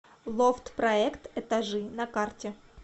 лофт проект этажи на карте